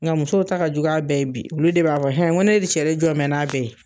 Nga musow ta ka jugu a bɛɛ ye bi olu de b'a fɔ n ko ne de cɛ jɔ bɛ n'a bɛɛ ye.